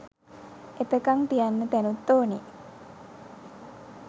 එතකං තියන්න තැනුත් ඕනෙ